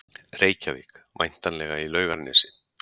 Reykjavík, væntanlega í Laugarnesi.